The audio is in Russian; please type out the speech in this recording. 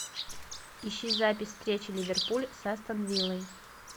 ищи запись встречи ливерпуль с астон виллой